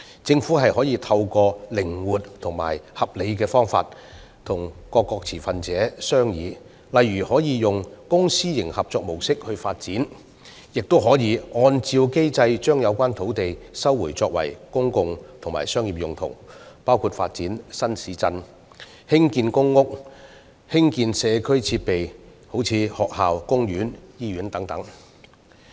政府可透過靈活和合理的方式與各持份者商議，例如可透過公私營合作模式發展，亦可按照機制把有關土地收回作公共和商業用途，包括發展新市鎮、興建公屋，以及興建社區設施如學校、公園、醫院等。